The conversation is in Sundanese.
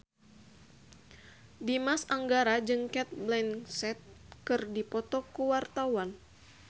Dimas Anggara jeung Cate Blanchett keur dipoto ku wartawan